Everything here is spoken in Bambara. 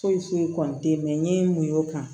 Foyi foyi kɔni tɛ mɛ n ye mun y'o kan